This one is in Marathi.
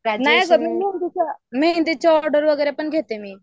मेहंदीच्या ऑर्डर वगैरे घेते मी